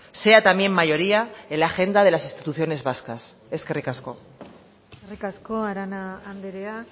sea también mayoría en la agenda de las instituciones vascas eskerrik asko eskerrik asko arana andrea